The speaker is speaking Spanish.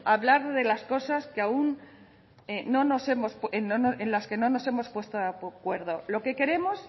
hablar de las cosas en las aun que no nos hemos puesto de acuerdo lo que queremos